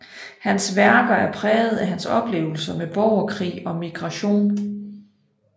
Hans værker er præget af hans oplevelser med borgerkrig og migration